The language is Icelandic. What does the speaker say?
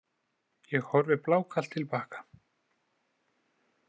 Ég horfi blákalt til baka.